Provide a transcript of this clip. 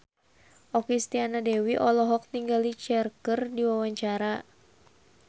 Okky Setiana Dewi olohok ningali Cher keur diwawancara